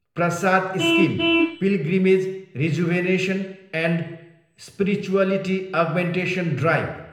Prasad scheme, pilgrimage rejuvenation and spirituality augmentation drive